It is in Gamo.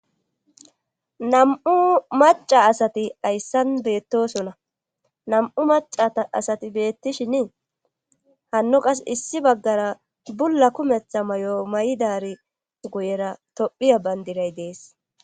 Nam7u maca asati ayssan beettosona nam7u macaa asati beettishin hanno qas issi baggara bulla kumetha may7o may7idari guyera tophiya bandiray dees.